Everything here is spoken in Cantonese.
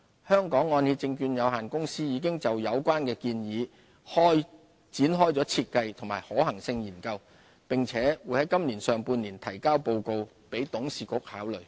香港按揭證券有限公司已就有關建議展開設計和可行性研究，並會盡快提交報告給董事局考慮。